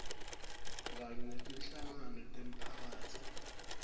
kanye netinhlangano temiphakatsi